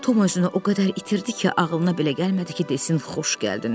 Tom özünü o qədər itirdi ki, ağılına belə gəlmədi ki, desin xoş gəldin.